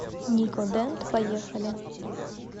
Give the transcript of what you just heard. нико дент поехали